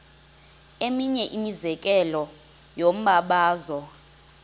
eminye imizekelo yombabazo